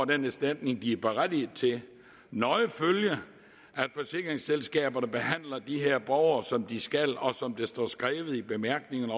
den erstatning de er berettiget til nøje følge at forsikringsselskaberne behandler de her borgere som de skal og som der står skrevet i bemærkningerne